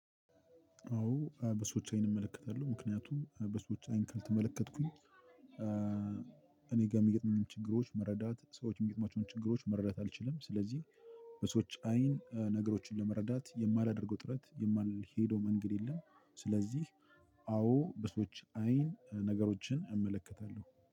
አዎ በሰዎች አይን እመለከታለሁ ምክንያቱም በሰዎች አይን ካልተመለከትኩኝ እኔ ጋር የሚገጥመኝን ችግሮች መረዳት ሰዎች የሚገጥማቸውን ችግሮች መረዳት አልችልም ስለዚህ። በሰዎች አይን ነገሮችን ለመረዳት የማላደርገው ጥረት የማልሄደው መንገድ የለም። ስለዚህ አዎ በሰዎች አይን ነገሮችን እመለከታለሁ